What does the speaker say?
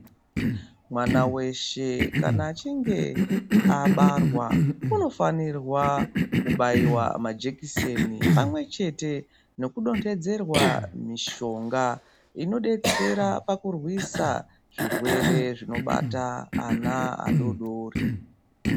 Mwana weshe kana achinge abarwa unofanirwa kubaiwa majekiseni pamwe chete nokudonthedzerwa mishonga inodetsera pakurwisa zvirwere zvinobata ana adoodori.